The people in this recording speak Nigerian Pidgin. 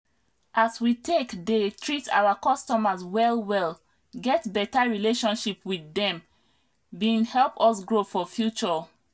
as we take dey treat oir customers well well get beta relationship with dem bin help us grow for future